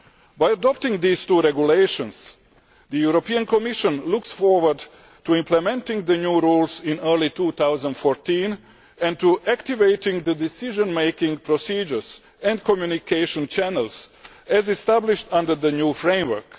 By adopting these two regulations, the European Commission looks forward to implementing the new rules in early 2014 and to activating the decision making procedures and communication channels as established under the new framework.